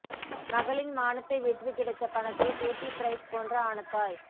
மகளின் மானத்தை விற்று கிடைத்த பணத்தில் கேட்டி பிரைஸ் போன்று ஆன தாய்